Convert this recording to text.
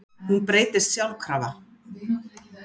Hún breytist sjálfkrafa.